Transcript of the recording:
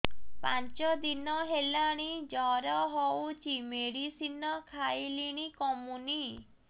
ପାଞ୍ଚ ଦିନ ହେଲାଣି ଜର ହଉଚି ମେଡିସିନ ଖାଇଲିଣି କମୁନି